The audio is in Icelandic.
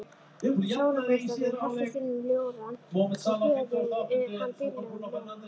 Sólargeislarnir helltust inn um ljórann og böðuðu hann dýrlegum ljóma.